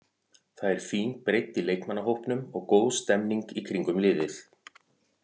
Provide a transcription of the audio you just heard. Það er fín breidd í leikmannahópnum og góð stemmning í kringum liðið.